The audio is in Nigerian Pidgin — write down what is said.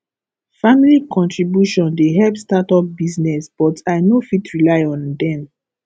family contribution dey help startup business but i no fit rely on dem